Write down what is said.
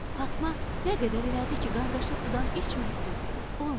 Fatma nə qədər elədi ki, qardaşı sudan içməsin, olmadı.